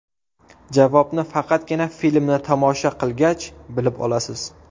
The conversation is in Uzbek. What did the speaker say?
Javobni faqatgina filmni tomosha qilgach, bilib olasiz.